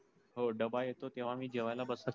हो डब्बा येतो तेव्हा मी जेवायला.